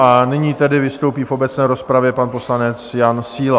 A nyní tedy vystoupí v obecné rozpravě pan poslanec Jan Síla.